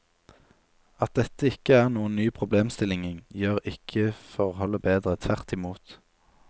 At dette ikke er noen ny problemstilling, gjør ikke forholdet bedre, tvert i mot.